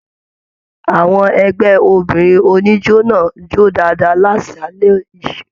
Àwọn ẹgbẹ obìnrin oníjó náà jó dáadáa l'asalẹ̀ yìí.